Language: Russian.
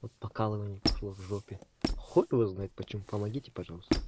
вот покалывание пошло в жопе хуй его знает почему помогите пожалуйста